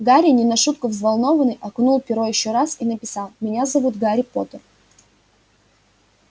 гарри не на шутку взволнованный окунул перо ещё раз и написал меня зовут гарри поттер